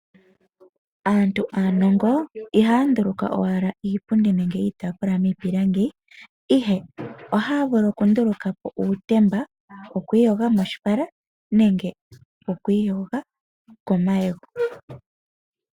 Aantu aanongo ihaa nduluka owala iipundi nenge iitaafula miipilangi, ihe ohaa vulu oku ndulukapo uutemba wokwiiyoga moshipala nenge wokwii yoga komayego.